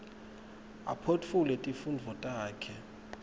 aphotfule tifundvo takhe